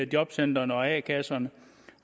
jobcentrene og a kasserne